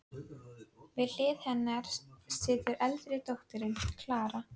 Við hlið hennar situr eldri dóttirin, Klara.